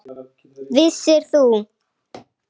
Vissir þú.